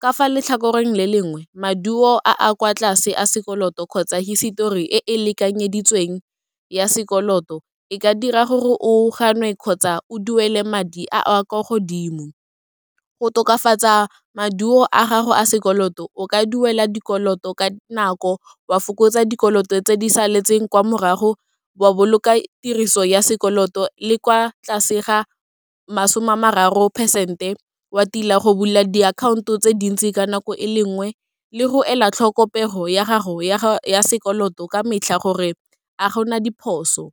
Ka fa letlhakoreng le lengwe, maduo a a kwa tlase a sekoloto kgotsa hisetori e e lekanyeditsweng ya sekoloto, e ka dira gore o gannwe kgotsa o duele madi a a kwa godimo. Go tokafatsa maduo a gago a sekoloto, o ka duela dikoloto ka nako, wa fokotsa dikoloto tse di saletseng kwa morago, wa boloka tiriso ya sekoloto le kwa tlase ga masome a mararo percent-e, wa tila go bula diakhaonto tse dintsi ka nako e le nngwe, le go ela tlhoko pego ya gago ya sekoloto ka metlha gore a gona diphoso.